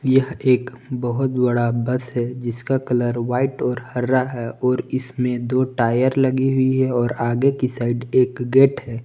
यह एक बहोत बड़ा बस है जिसका कलर व्हाइट और हरा है और इसमें दो टायर लगी हुई है और आगे के साइड एक गेट हैं।